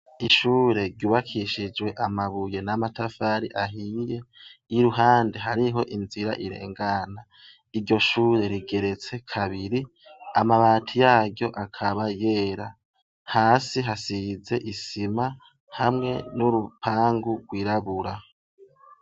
Ishure ryubakishijwe amabuye n'amatafari ahiye. Iruhande hariho inzira irengana. Iryo shure rigeretse kabiri, amabati yaryo akaba yera. Hasi hasize isima, hamwe n'urupangu rwirabura.